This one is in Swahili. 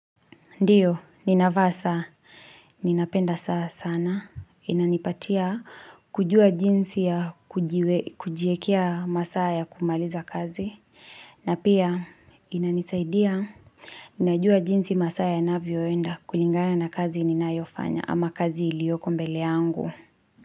Ndiyo, ninavaa saa, ninapenda saa sana, inanipatia, kujua jinsi ya kujiekea masaa ya kumaliza kazi, na pia inanisaidia, ninajua jinsi masaa yanavyoenda kulingana na kazi ninayofanya ama kazi ilioko mbele yangu.